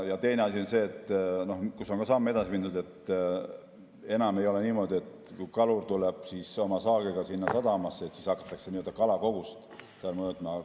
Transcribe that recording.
Teine asi on see, kus on samm edasi mindud, et enam ei ole niimoodi, et kui kalur tuleb oma saagiga sadamasse, siis hakatakse nii-öelda kalakogust seal mõõtma.